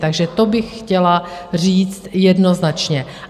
Takže to bych chtěla říct jednoznačně.